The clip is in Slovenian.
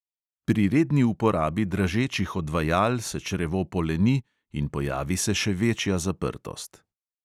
Pri redni uporabi dražečih odvajal se črevo poleni in pojavi se še večja zaprtost.